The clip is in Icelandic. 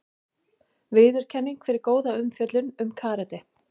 Viðurkenning fyrir góða umfjöllun um karate